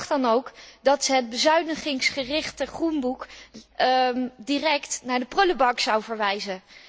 Ik dacht dan ook dat zij het bezuinigingsgerichte Groenboek direct naar de prullenbak zou verwijzen.